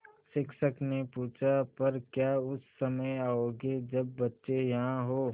शिक्षक ने पूछा पर क्या उस समय आओगे जब बच्चे यहाँ हों